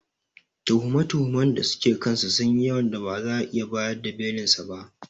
Tuhume-tuhumen da suke kansa sunyi yawan da ba za'a iya bayar da Belinsa ba.